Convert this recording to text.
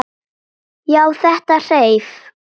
Já, þetta hreif!